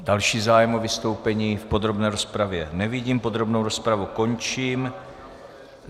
Další zájem o vystoupení v podrobné rozpravě nevidím, podrobnou rozpravu končím.